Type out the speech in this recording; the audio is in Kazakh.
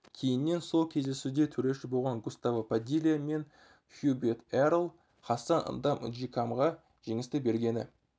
кейіннен сол кездесуде төреші болған густаво падилья мен хьюберт эрл хассан ндам нжикамға жеңісті бергені